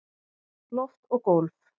Loft og gólf